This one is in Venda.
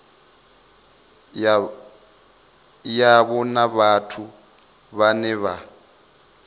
yavho na vhathu vhane vha